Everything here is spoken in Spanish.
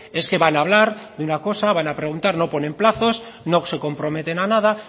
es que van a hablar de una cosa van a preguntar no ponen plazos no se comprometen a nada